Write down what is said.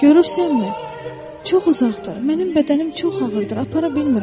Görürsənmi, çox uzadır, mənim bədənim çox ağırdır, apara bilmirəm.